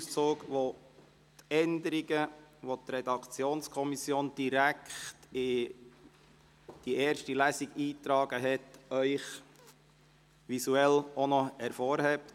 Auf dieser sind die von der Redaktionskommission direkt in die Gesetzesfahne, «Spalte erste Lesung», eingetragenen Änderungen visuell für Sie hervorgehoben.